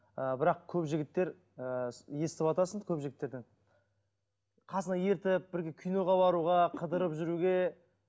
ы бірақ көп жігіттер ыыы естівтасың көп жігіттерден қасына ертіп бірге киноға баруға қыдырып жүруге